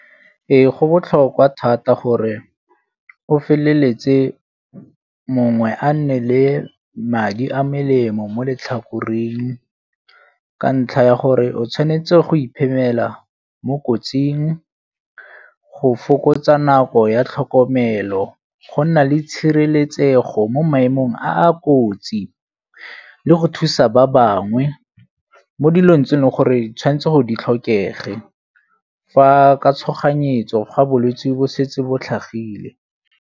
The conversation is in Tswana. Ee, go botlhokwa thata gore o feleletse mongwe a nne le madi a melemo mo letlhakoreng ka ntlha ya gore o tshwanetse go iphemela mo kotsing go fokotsa nako ya tlhokomelo, go nna le tshireletsego mo maemong a kotsi le go thusa ba bangwe mo dilong tse e leng gore tshwanetse gore di tlhokege, fa ka tshoganyetso ga bolwetsi bo setse bo tlhagile.